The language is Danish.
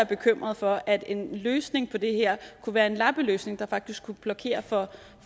bekymret for at en løsning på det her kunne være en lappeløsning der faktisk kunne blokere